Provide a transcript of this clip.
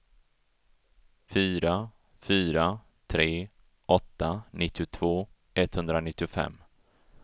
fyra fyra tre åtta nittiotvå etthundranittiofem